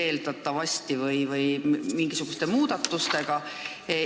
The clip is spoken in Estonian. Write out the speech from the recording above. Eeldatavasti on vaja mingisuguseid muudatusi.